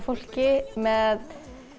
fólki með